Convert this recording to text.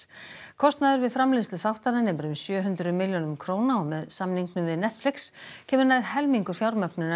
kostnaður við framleiðslu þáttanna nemur um sjö hundruð milljónum króna og með samningnum við Netflix kemur nær helmingur fjármögnunar